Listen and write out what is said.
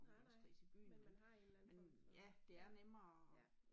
Nej nej, men man har en eller anden form for ja, ja